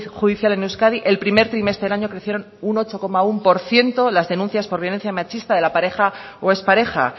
judicial en euskadi el primer trimestre del año crecieron un ocho coma uno por ciento las denuncias por violencia machista de la pareja o ex pareja